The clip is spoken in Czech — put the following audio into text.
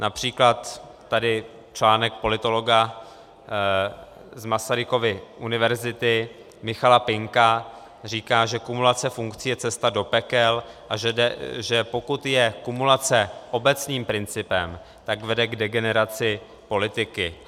Například tady článek politologa z Masarykovy univerzity Michala Pinka říká, že kumulace funkcí je cesta do pekel, a že pokud je kumulace obecným principem, tak vede k degeneraci politiky.